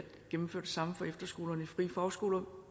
gennemføre det samme for efterskolerne i frie fagskoler